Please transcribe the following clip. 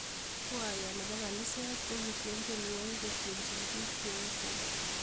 Kwaya ab kaniset kokitien tienwokik kotienjin biik cheosen